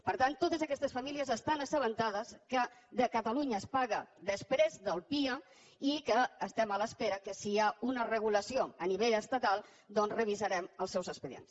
per tant totes aquestes famílies estan assabentades que a catalunya es paga després del pia i que estem a l’espera que si hi ha una regulació a nivell estatal doncs revisarem els seus expedients